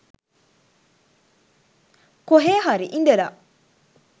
කොහේ හරි ඉඳලා